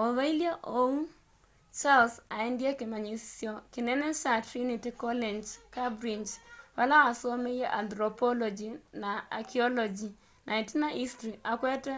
o vailye uu charles aendie kimanyisyo kinene kya trinity college cambridge vala wasomeie antropology na archaeology na itina history akwete